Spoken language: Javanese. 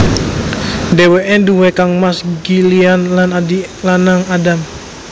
Dheweke nduwé kangmas Gillian lan adik lanang Adam